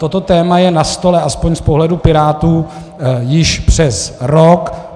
Toto téma je na stole aspoň z pohledu Pirátů již přes rok.